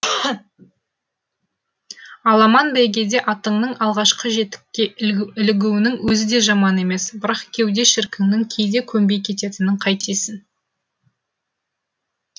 аламан бәйгеде атыңның алғашқы жетікке ілігуінің өзі де жаман емес бірақ кеуде шіркіннің кейде көнбей кететінін қайтесің